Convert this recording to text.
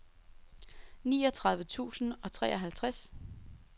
niogtredive tusind og treoghalvtreds